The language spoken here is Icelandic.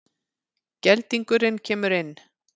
Geldingurinn kemur inn.